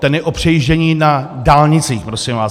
Ten je o předjíždění na dálnicích, prosím vás.